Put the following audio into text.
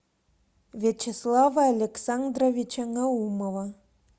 вячеслава александровича наумова